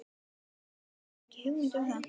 Hugrún Halldórsdóttir: Hafðirðu ekki hugmynd um það?